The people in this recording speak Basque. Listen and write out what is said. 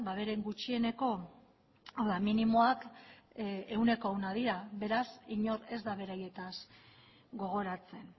beren gutxieneko hau da minimoak ehuneko ehuna dira beraz inork ez da beraietaz gogoratzen